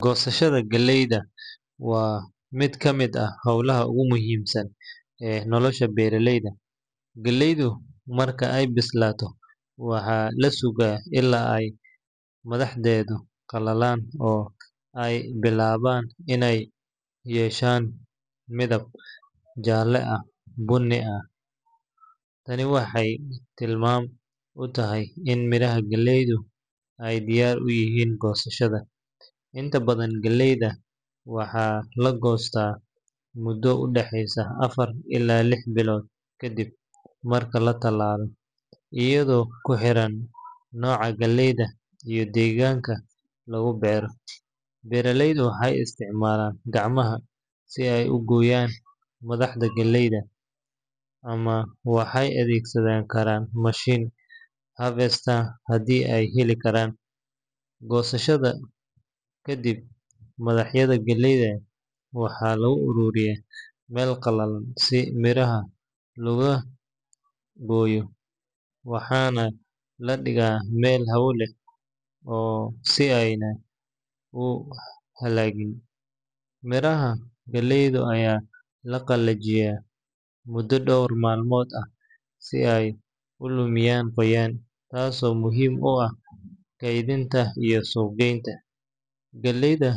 Goosashada galleyda waa mid ka mid ah hawlaha ugu muhiimsan ee nolosha beeraleyda. Galleydu marka ay bislaato, waxaa la sugaa ilaa ay madaxdeedu qalalaan oo ay bilaabaan inay yeeshaan midab jaalle ama bunni ah. Tani waxay tilmaam u tahay in miraha galleydu ay diyaar u yihiin goosashada. Inta badan galleyda waxaa la goostaa muddo u dhexeysa afar ilaa lix bilood kadib marka la tallaalo, iyadoo ku xiran nooca galleyda iyo deegaanka lagu beero. Beeraleydu waxay isticmaalaan gacmaha si ay u gooyaan madaxda galleyda ama waxay adeegsan karaan mashiinada harvesters haddii ay heli karaan. Goosashada kadib, madaxda galleyda waxaa lagu ururiyaa meel qalalan si miraha looga gooyo, waxaana la dhigaa meel hawo leh si aanay u halligin. Miraha galleyda ayaa la qalajiyaa muddo dhowr maalmood ah si ay u lumiyaan qoyaan, taasoo muhiim u ah kaydinta iyo suuq geynta. Galleyda.